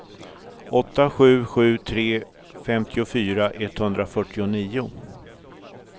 åtta sju sju tre femtiofyra etthundrafyrtionio